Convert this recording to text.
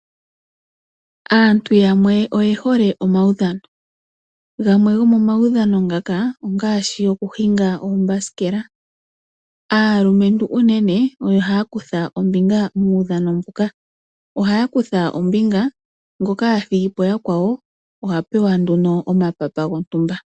Aantu yamwe oyehole omaudhano. Gamwe gomomaudhano ngaka ongashi okushinga oombasikela. Aalumentu unene oyo haya kutha ombinga muudhano mbuka. Ohaya kutha ombinga, ngoka athigipo yakwawo oha pewa nduno omapapa gontumba.